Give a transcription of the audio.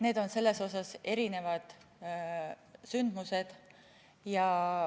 Need on selles mõttes erinevad sündmused.